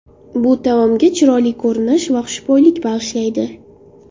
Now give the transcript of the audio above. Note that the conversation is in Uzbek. Bu taomga chiroyli ko‘rinish va xushbo‘ylik bag‘ishlaydi.